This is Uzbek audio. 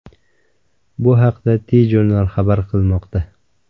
Bu haqda TJournal xabar qilmoqda .